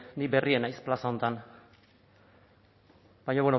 bueno ni berria naiz plaza honetan baina